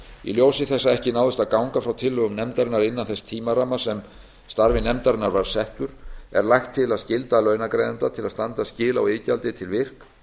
í ljósi þess að ekki náðist að ganga frá tillögum nefndarinnar innan þess tímaramma sem starfi nefndarinnar var settur er lagt til að skylda launagreiðanda til að standa skil á iðgjaldi til virk